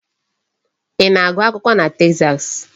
Ị na-agụ akwụkwọ na Texas?